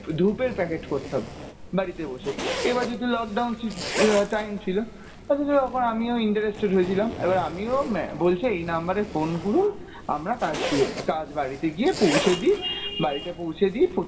ধূপের packet করতে হবে বাড়িতে বসে । এবার যেহেতু lockdown time ছিল তখন আমিও interested হয়েছিলাম এবার আমিও এর বলছে এই number এ phone করুন আমরা কাজ ইয়ে কাজ বাড়িতে গিয়ে পৌছে দি বাড়িতে পৌছে দি